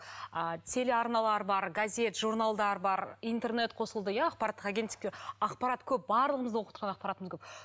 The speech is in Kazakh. а телеарналар бар газет журналдар бар интернет қосылды иә ақпараттық агенттіктер ақпарат көп барлығымыздың оқытқан ақпаратымыз көп